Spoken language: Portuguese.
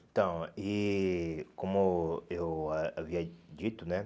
Então, e como eu eh havia dito, né?